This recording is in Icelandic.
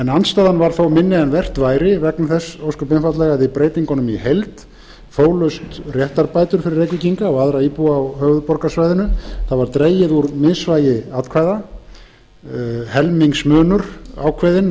andstaðan var þó minni en vert var vegna þess að með breytingunum í heild fólust réttarbætur fyrir reykvíkinga og aðra íbúa á höfuðborgarsvæðinu dregið var úr misvægi atkvæða og helmingsmunur ákveðinn